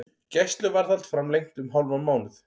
Gæsluvarðhald framlengt um hálfan mánuð